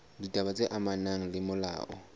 ditaba tse amanang le molao